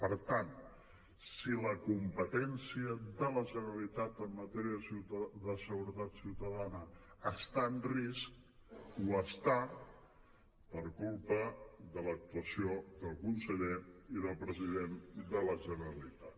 per tant si la competència de la generalitat en matèria de seguretat ciutadana està en risc ho està per culpa de l’actuació del conseller i del president de la generalitat